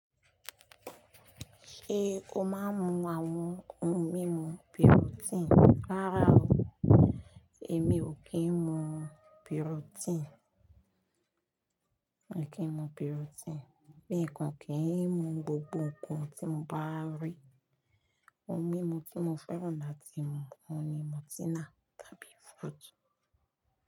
Ṣé o máa ń mu àwọn ohun mímu protein? Rárá o, èmi ò kí ń mu protein. Mi ò kí ń mu protein, mi i kan kí ń mu gbogbo nkan tí mo bá rí. Ohun mímu tí mo fẹ́ràn láti mu oun ni Murtina tàbí Fruit.